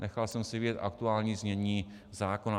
Nechal jsem si vyjet aktuální znění zákona.